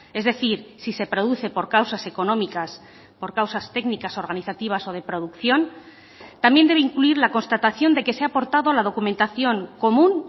es decir si se produce por causas económicas por causas técnicas organizativas o de producción también debe incluir la constatación de que se ha aportado la documentación común